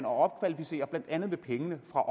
og opkvalificere blandt andet med pengene fra